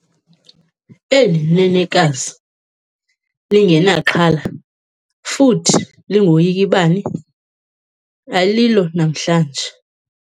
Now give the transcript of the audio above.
Eli nenekazi lingenaxhala futhi lingoyiki bani alilo namhlanje.